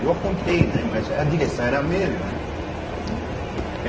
Eu apontei, né, mas a direção era a mesma, né.